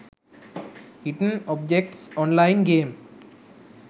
hidden objects online game